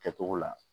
Kɛcogo la